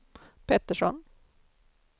Pettersson